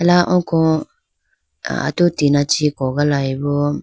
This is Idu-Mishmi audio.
ala oko atu tina chee kogalayibo.